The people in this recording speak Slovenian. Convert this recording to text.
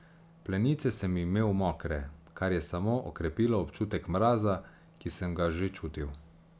Plenice sem imel mokre, kar je samo okrepilo občutek mraza, ki sem ga že čutil.